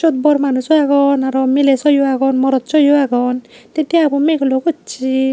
siot bor manuso agon arw miley swyo agon morot swyo agon tey deabo migullo gossey.